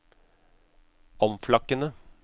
omflakkende